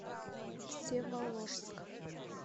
всеволожск